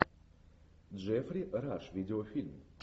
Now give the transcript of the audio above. джеффри раш видеофильм